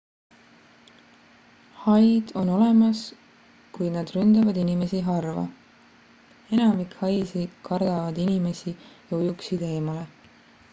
haid on olemas kuid nad ründavad inimesi harva enamik haisid kardavad inimesi ja ujuksid eemale